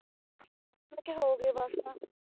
ਮੈਂ ਕਿਹਾ ਹੋ ਗਏ ਬਸ ਨਾ